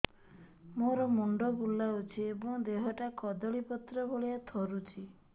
ମୋର ମୁଣ୍ଡ ବୁଲାଉଛି ଏବଂ ଦେହଟା କଦଳୀପତ୍ର ଭଳିଆ ଥରୁଛି